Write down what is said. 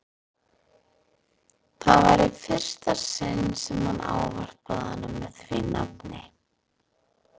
Það var í fyrsta sinn sem hann ávarpaði hana með því nafni.